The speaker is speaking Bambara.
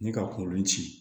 Ni ka kungolo ci